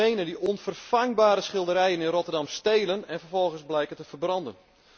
Roemenen die onvervangbare schilderijen in Rotterdam stelen en vervolgens blijken te verbranden.